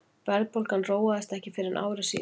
verðbólgan róaðist ekki fyrr en ári síðar